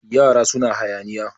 yara suna hayaniya